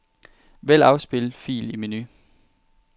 Vælg afspil fil i menu.